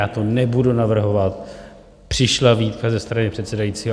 Já to nebudu navrhovat, přišla výtka ze strany předsedajícího.